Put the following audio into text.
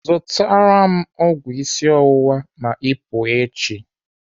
Zụtara m ọgwụ isi ọwụwa ma ọ pụọ echi.